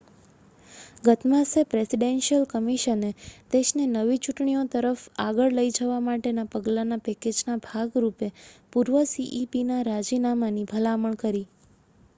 ગત માસે પ્રેસિડેન્શિઅલ કમિશને દેશને નવી ચૂંટણીઓ તરફ આગળ લઈ જવા માટેના પગલાંના પૅકેજના ભાગ રૂપે પૂર્વ cepના રાજીનામાની ભલામણ કરી